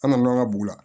An nana an ka bugu la